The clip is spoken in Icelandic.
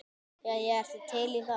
Jæja, ertu til í það?